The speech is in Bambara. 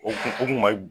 U kun u kun ma